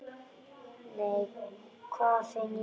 Nei, hvað finn ég!